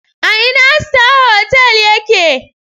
A ina Star Hotel ya ke ne?